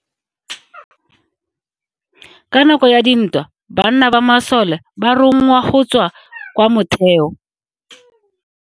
Ka nako ya dintwa banna ba masole ba rongwa go tswa kwa motheo.